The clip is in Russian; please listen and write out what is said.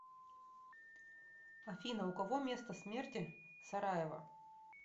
афина у кого место смерти сараево